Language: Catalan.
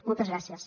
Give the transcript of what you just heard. moltes gràcies